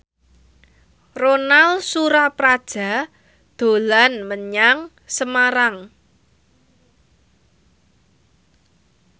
Ronal Surapradja dolan menyang Semarang